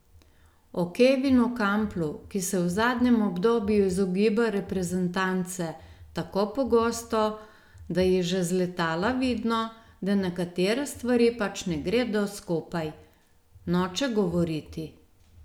O Kevinu Kamplu, ki se v zadnjem obdobju izogiba reprezentance tako pogosto, da je že z letala vidno, da nekatere stvari pač ne gredo skupaj, noče govoriti.